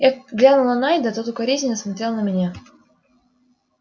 я глянул на найда тот укоризненно смотрел на меня